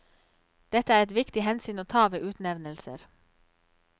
Dette er eit viktig omsyn å ta ved utnemningar.